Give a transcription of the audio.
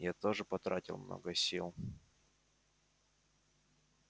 я тоже потратил много сил